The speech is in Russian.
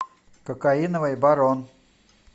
кокаиновый барон